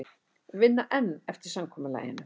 Vinna enn eftir samkomulaginu